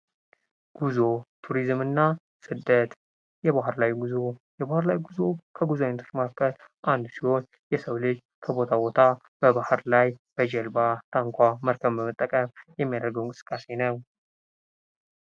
ጉዞ ቱሪዝምና ስደት የባህር ላይ ጉዞ የባህር ላይ ጉዞ ከጉዞ አይነቶች መካከል አንድ ሲሆን የሰው ልጅ ከቦታ ቦታ በባህር ላይ በጀልባ፣ ታንኳ፣ መልካም በመጠቀም የሚያደርገው እንቅስቃሴ ነው።